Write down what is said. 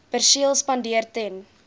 perseel spandeer ten